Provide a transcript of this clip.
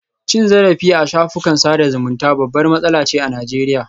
Cin zarafi a shafukan sada zumunta babbar matsala ce a Najeriya